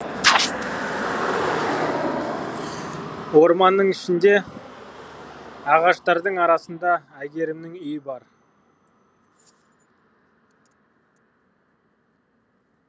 орманның ішінде ағаштардың арасында әйгерімнің үйі бар